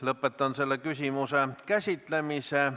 Lõpetan selle küsimuse käsitlemise.